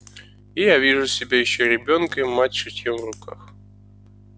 и я вижу себя ещё ребёнком и мать с шитьём в руках